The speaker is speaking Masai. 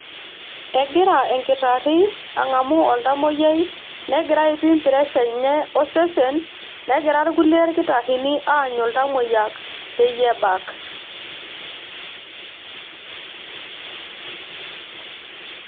Egira enkitari angamu oltamoyiai nengira aipim pressure enye osesen ,negira kulie kitarini aanyu iltamoyiak peyie ebak